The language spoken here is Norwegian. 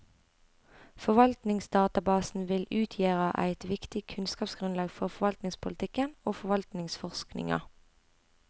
Forvaltningsdatabasen vil utgjera eit viktig kunnskapsgrunnlag for forvaltningspolitikken og forvaltningsforskninga.